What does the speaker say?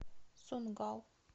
сунггал